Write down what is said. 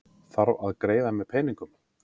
Þarf að greiða með peningum